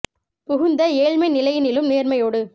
புகுந்தஏழ்மை நிலையினிலும் நேர்மை யோடு